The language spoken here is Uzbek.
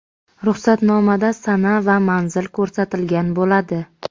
Ruxsatnomada sana va manzil ko‘rsatilgan bo‘ladi.